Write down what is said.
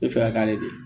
I bɛ fɛ ka k'ale de ye